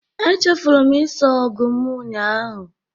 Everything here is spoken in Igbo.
Echefuru m ịsa ọgụ m ụnyahụ